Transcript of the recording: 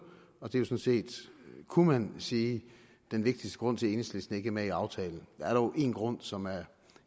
og det er jo sådan set kunne man sige den vigtigste grund til at enhedslisten ikke er med i aftalen der er dog en grund som er